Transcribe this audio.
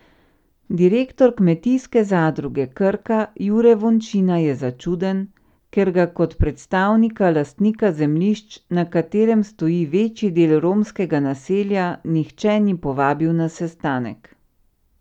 Direktor Kmetijske zadruge Krka Jure Vončina je začuden, ker ga kot predstavnika lastnika zemljišč, na katerem stoji večji del romskega naselja, nihče ni povabil na sestanek.